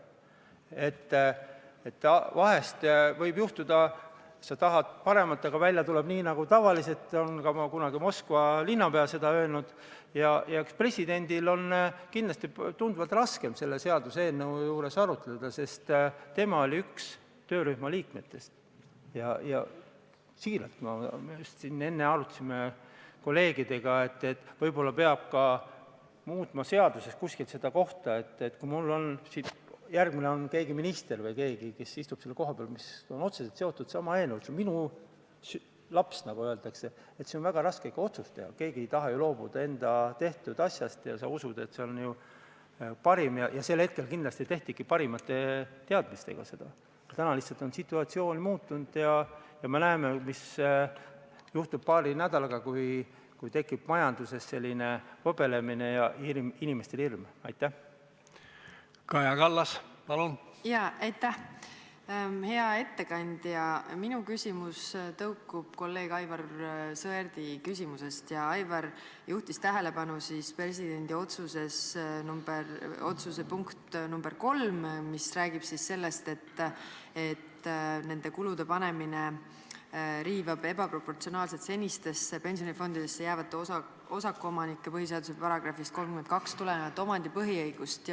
Aivar juhtis tähelepanu presidendi otsuse punktile nr 3, mis räägib sellest, et nende kulude panemine sambasse jääjatele riivab ebaproportsionaalselt senistesse pensionifondidesse jäävate osakuomanike põhiseaduse §-st 32 tulenevat omandipõhiõigust.